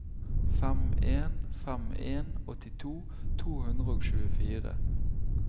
fem en fem en åttito to hundre og tjuefire